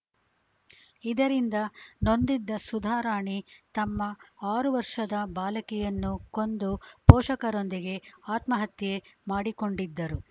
ಇದರಿಂದ ನೊಂದಿದ್ದ ಸುಧಾರಾಣಿ ತಮ್ಮ ಆರು ವರ್ಷದ ಬಾಲಕಿಯನ್ನು ಕೊಂದು ಪೋಷಕರೊಂದಿಗೆ ಆತ್ಮಹತ್ಯೆ ಮಾಡಿಕೊಂಡಿದ್ದರು